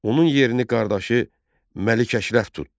Onun yerini qardaşı Məlik Əşrəf tutdu.